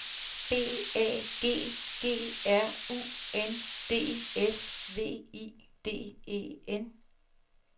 B A G G R U N D S V I D E N